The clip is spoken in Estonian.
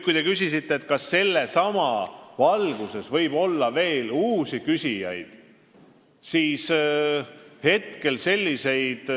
Te küsisite, kas selles valguses võib tekkida veel uusi valitsuse poole pöördujaid.